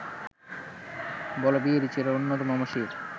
বল বীর চির উন্নত মম শির